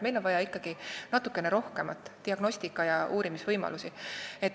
Meil on vaja ikkagi natuke rohkemat – diagnostikat ja uurimisvõimalusi.